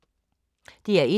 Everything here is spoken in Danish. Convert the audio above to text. DR1